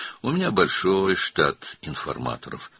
Mənim böyük bir informator heyətim var.